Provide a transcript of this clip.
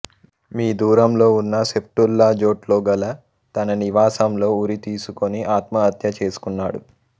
మీ దూరంలో ఉన్న సెఫ్టుల్లాజోట్ లో గల తన నివాసంలో ఉరి తీసుకొని ఆత్మహత్య చేసుకున్నాడు